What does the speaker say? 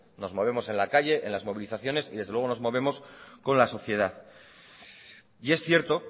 nos movemos en la calle en las movilizaciones y desde luego nos movemos con la sociedad y es cierto